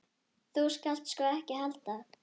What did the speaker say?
Þú skalt sko ekki halda.